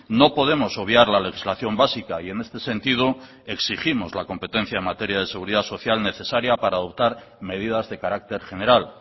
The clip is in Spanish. no podemos obviar la legislación básica y en este sentido exigimos la competencia en materia de seguridad social necesaria para adoptar medidas de carácter general